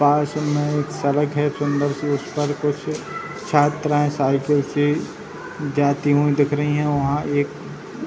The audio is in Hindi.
पास में एक सड़क है सुन्दर सी उस पर कुछ छात्राएँ साइकिल से जाती हुई दिख रही हैं वहाँ एक --